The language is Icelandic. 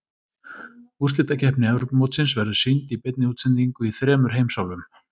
Úrslitakeppni Evrópumótsins verður sýnd í beinni útsendingu í þremur heimsálfum.